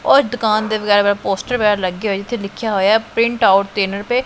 ਔਰ ਦੁਕਾਨ ਦੇ ਪੋਸਟਰ ਵਗੈਰਾ ਲੱਗੇ ਹੋਏ ਜਿੱਥੇ ਲਿੱਖਿਆ ਹੋਇਆ ਹੈ ਪ੍ਰਿੰਟਆਊਟ ਤਿੰਨ ਰੁਪਏ।